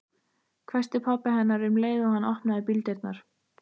hvæsti pabbi hennar um leið og hann opnaði bíldyrnar.